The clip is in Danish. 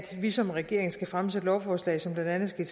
vi som regering skal fremsætte lovforslag som blandt andet skal